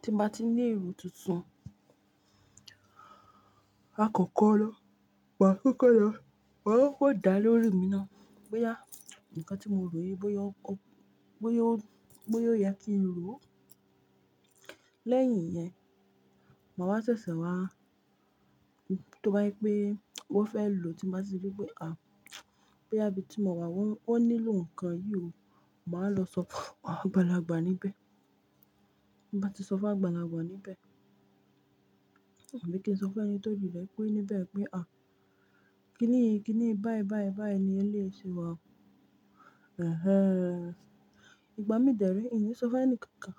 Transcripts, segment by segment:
Ti mo bá ti ní èrò tuntun, la kọ́kọ́ na, wà á kọ́kọ́ lọ, wà á kọ́kọ́ dá lóòri mi náà boya, "Nǹkan tí mo rò yìí bóyá ó yá kí n rò ó." Lẹ́yìn yẹn, màwa ṣẹ̀sẹ̀ wá tó bá je wípé wọ́n fẹ́ lò ó tí mo bá tí wípé, "À, bóyá bí ti mo wà wọ́n nílò nǹkan yìí o." Màá lọ sọ fun awon àgbalagbà níbẹ̀. Ti mo bá ti sọ fún agbalagba níbẹ̀, abi kí n sọ fún ẹni tó jù lẹ́kún níbẹ̀ wípé, "À, kíni, kíni báyìí, báyìí, báyìí ni ẹ lè ṣe wọ̀." Ẹ̀hẹn. Ìgbà mí dẹ̀ rí, ìní sọ fún ẹni kankan,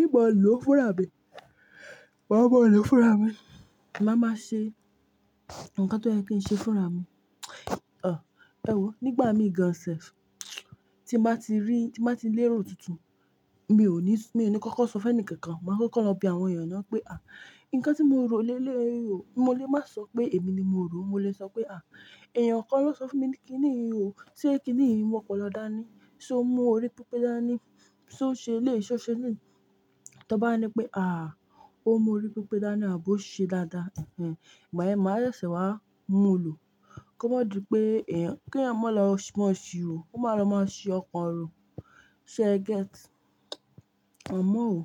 "Ì mo lò fúnra mi ma ma lọ́ fúnra mi." maa máa ṣe nǹkan ti oye kí n ṣe fúnra mi. Ọ̀, ẹ wò ó, nígbà mi gan-an sẹ̀f, tí mo bá ti rí, tí mo bá ti ní èrò tuntun, mi ò ní, mi ò ní kọ́kọ́ sọ fún ẹni kankan, màá kọ́kọ́ lọ bí àwọn èèyàn náà pé, "À, nǹkan tí mo rò léèé o." Mo lè máa sọ pé èmi ni mo rò ó, mo lè sọ pé, "èèyàn kan ló sọ fún mi kíni ì o, sé kíni ì o mu opolo da ni, ṣé o mú orí pípẹ́ dáa ni? Ṣé o ṣe ilé, ṣé o ṣe ilé?" Ti won bá nipe wípé, ó mú orí pípẹ́ dáa ni àbí ó ṣe dáadáa." Ẹ̀hẹn. Ìgbà yẹn màá ṣẹ̀sẹ̀ wá mú lò ó, kí o ma di pé èèyàn kí á máa lọ máa ṣi rò, kó máa lọ máa ṣi ọkàn òrò. Sé ẹ gẹ́t? A mọ́ o.